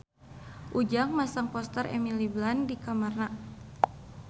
Ujang masang poster Emily Blunt di kamarna